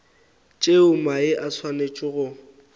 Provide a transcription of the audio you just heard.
tšeo mae a swanetšego go